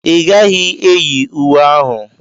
Ị gaghị eyi uwe ahụ.